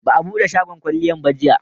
Ba a bude shagon kwalliyan ba jiya